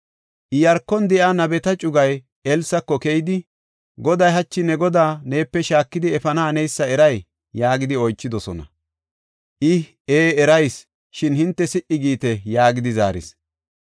Iyaarkon de7iya nabeta cugay Elsako keyidi, “Goday hachi ne godaa neepe shaakidi efana haneysa eray?” yaagidi oychidosona. I, “Ee erayis; shin hinte si77i giite” yaagidi zaaris.